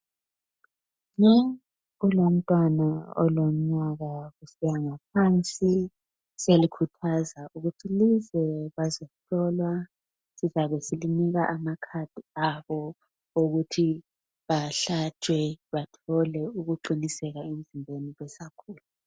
Kulomntwana olomnyaka kusiya ngaphansi. Siyalikhuthaza ukuthi lize bazohlolwa sizabe silinika amakhadi abo ukuthi bahlatshwe bathole ukuqiniseka emzimbeni besakhula